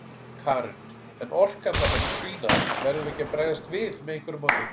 Karen: En orkan þarna mun dvína, verðum við ekki að bregðast við með einhverju móti?